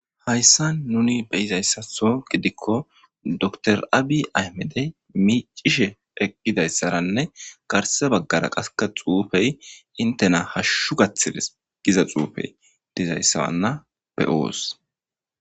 hayssan nuni be izayssatho gidikko door abi aymede miicishe eqqidayssaranne garse baggara qaska xuufey intena hashshu gaththiles giza xuufey dizayssawanna be oos